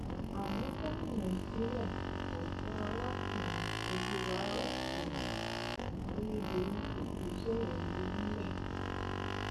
ó ní onírúurú ẹjọ ni àjọ náà kojú ní kóòtù kó tóó di pé ọnà la fún ìdìbò náà báyìí